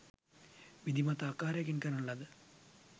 විධිමත් ආකාරයකින් කරන ලද